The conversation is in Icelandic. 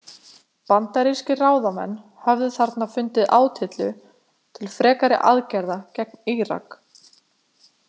Bandaríkiskir ráðamenn höfðu þarna fundið átyllu til frekari aðgerða gegn Írak.